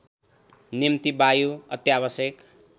निम्ति वायु अत्यावश्यक